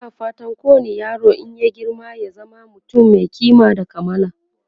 ana fatan kowani yaro in ya girma ya zama mutum Mai kima da kamala